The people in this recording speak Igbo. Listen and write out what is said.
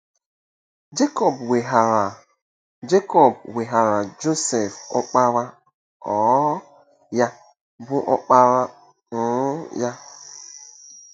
Jekọb weghaara Jekọb weghaara Josef ọkpara um ya, bụ́ ọkpara um ya.